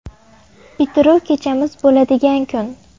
Bitiruv kechamiz bo‘ladigan kun.